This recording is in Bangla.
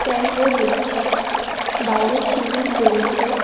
ভ্যানও দেখছি বাইরে সিঁড়ি রয়েছে।